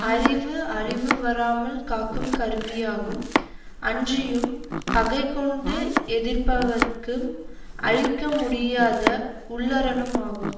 அறிவு அழிவு வராமல் காக்கும் கருவியாகும் அன்றியும் பகை கொண்டு எதிர்ப்பவர்க்கும் அழிக்க முடியாத உள்ளரணும் ஆகும்